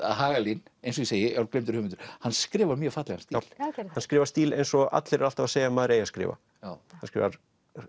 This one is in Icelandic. Hagalín eins og ég segi er gleymdur höfundur en hann skrifar mjög fallegan stíl hann skrifar stíl eins og allir eru alltaf að segja að maður eigi að skrifa hann skrifar